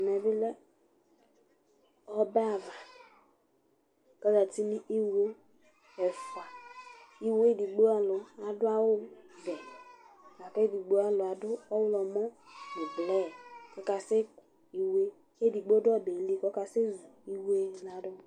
ɛmɛ lɛ ɔbɛ ava, kɔ zati nu iwo ɛfua, iwo edigbo alu adu awu vɛ, k'edigbo alu adu ɔwlumɔ nu blɛɛ kaka sɛ ku iwoe k'edigbo du ɔbɛɛ li kɔka sɛ zu iwoe di la du